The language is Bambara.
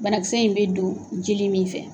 Banakisɛ in bɛ don jeli min fɛ.